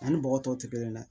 Ani bɔgɔ tɔw tɛ kelen ye dɛ